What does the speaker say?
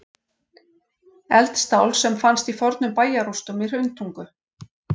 Eldstál sem fannst í fornum bæjarrústum í Hrauntungu.